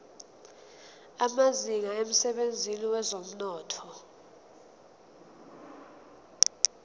amazinga emsebenzini wezomnotho